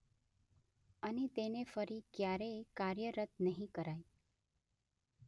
અને તેને ફરી ક્યારેય કાર્યરત નહીં કરાય.